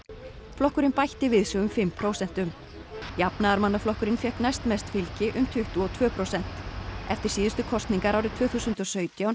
flokkurinn bætti við sig um fimm prósentum jafnaðarmannaflokkurinn fékk næst mest fylgi um tuttugu og tvö prósent eftir síðustu kosningar árið tvö þúsund og sautján